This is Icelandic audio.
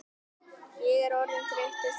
Ég er orðinn þreyttur sagði